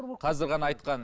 қазір ғана айтқан